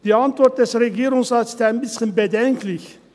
Die Antwort des Regierungsrates ist ein bisschen bedenklich.